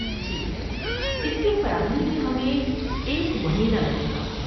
ٹھیک ہے، اس کی فراہمی میں ہمیں ایک مہینہ لگے گا۔